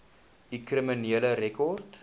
u kriminele rekord